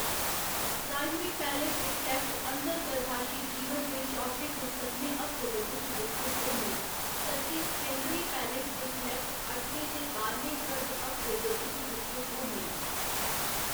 Primary palate दे cleft अंतर्गर्भाशी जीवन दे चौथे ते सतमें हफ्ते दे बिच्च विकसत होंदे न जद के सेकेंडरी पैलेट दे क्लेफ्ट अठमें ते बाह्‌रमें गर्भ हफ्ते दे बिच्च विकसत होंदे न।